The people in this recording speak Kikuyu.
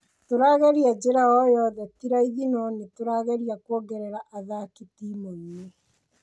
Tũrageria jira yoyothe, tĩ raithi no nĩ tũrageria kũongerera athaki timũinĩ.